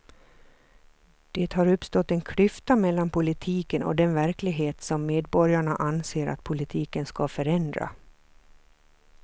Det har uppstått en klyfta mellan politiken och den verklighet som medborgarna anser att politiken ska förändra.